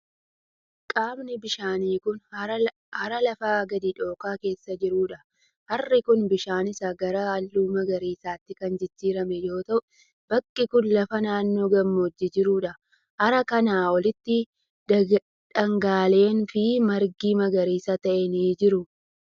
Qaamni bishaanii kun, hara lafa gadi dhooqaa keessa jiruu dha. Harri kun, bishaan isaa gara haalluu magariisaattti kan jijjiirame yoo ta'u, bakki kun lafa naannoo gammoojjii jiruu dha. Hara kanaa olitti dhagaaleen fi margi magariisa ta'e ni jiru.